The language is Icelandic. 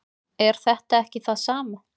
er þetta ekki það sama